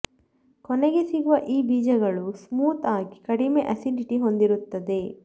ಕೊನೆಗೆ ಸಿಗುವ ಈ ಬೀಜಗಳು ಸ್ಮೂತ್ ಆಗಿ ಕಡಿಮೆ ಅಸಿಡಿಟಿ ಹೊಂದಿರುತ್ತದೆ